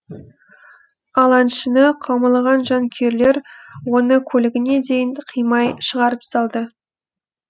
ал әншіні қаумалаған жанкүйерлер оны көлігіне дейін қимай шығарып салды